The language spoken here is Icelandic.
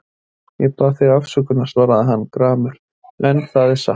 Ég bað þig afsökunar, svaraði hann gramur,-en það er satt.